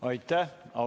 Aitäh!